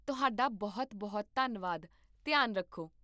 ਤੁਹਾਡਾ ਬਹੁਤ ਬਹੁਤ ਧੰਨਵਾਦ, ਧਿਆਨ ਰੱਖੋ